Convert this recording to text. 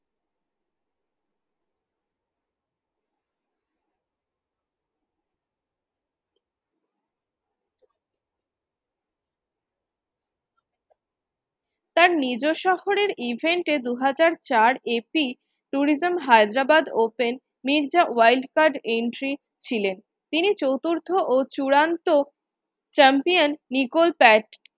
তার নিজ শহরের event এ দু হাজার চার APtourism Hyderabad open Mirza wild card entry ছিলেন তিনি চতুর্থ ও চূড়ান্ত champion নিকোল পার্ক